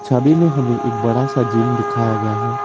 छवि में हमें एक बड़ा सा जिम दिखाया गया है।